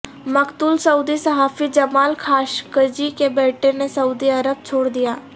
مقتول سعودی صحافی جمال خاشقجی کے بیٹے نے سعودی عرب چھوڑدیا